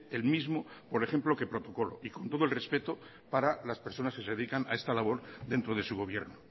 el mismo que por ejemplo que protocolo y con todo el respeto para las personas que se dedican a esta labor dentro de su gobierno